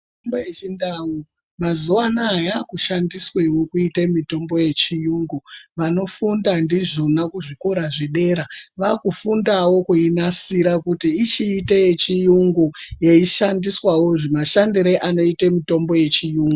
Mitombo yechindau mazuwa anaya yakushandiswewo kuitei mitombo yechiyungu. Vanofunda ndizvona kuzvikora zvedera vakufundawo kuinasira kuti ichiite yechiyungu, yeishandiswawo mashandire anoite mitombo yechiyungu.